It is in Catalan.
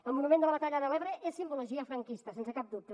el monument de la batalla de l’ebre és simbologia franquista sense cap dubte